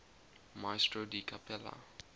maestro di cappella